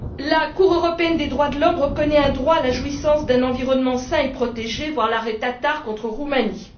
La Cour européenne des droits de l'homme reconnaît un droit à la jouissance d'un environnement sain et protégé, voir l'arrêt Tătar contre Roumanie.